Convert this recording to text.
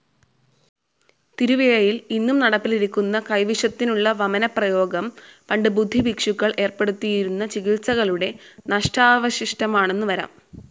തിരുവിഴയിൽ ഇന്നും നടപ്പിലിരിക്കുന്ന കൈവിഷത്തിനുള്ള വമനപ്രയോഗം പണ്ട് ബുദ്ധഭിക്ഷുക്കൾ ഏർപ്പെടുത്തിയിരുന്ന ചികിത്സകളുടെ നഷ്ടാവശിഷ്ടമാണെന്നുവരാം.